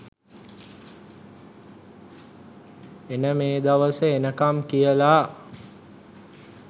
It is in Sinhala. එන මේ දවස එනකම් කියලා.